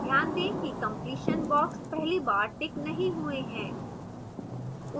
ध्यान दें कि completion boxes पहली बार ticked नहीं हुए हैं